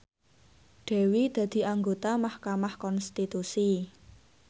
Dewi dadi anggota mahkamah konstitusi